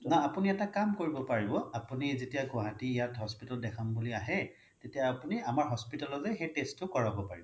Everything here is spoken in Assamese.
নহয় আপুনি এটা কাম কৰিব পাৰিব আপুনি যেতিয়া গুৱাহাটী ইয়াত hospital ত দেখাম বুলি আহে তেতিয়া আপুনি আমাৰ hospital তে সেই test টো কৰাব পাৰিব